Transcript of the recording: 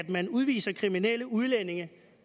at man udviser kriminelle udlændinge